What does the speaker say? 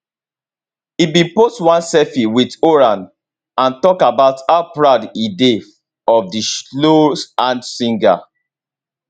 e bin post one selfie with horan and talk about how proud e dey of di slow hands singer